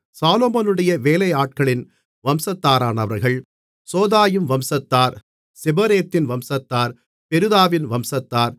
சாலொமோனுடைய வேலையாட்களின் வம்சத்தாரானவர்கள் சோதாயின் வம்சத்தார் சொபெரேத்தின் வம்சத்தார் பெருதாவின் வம்சத்தார்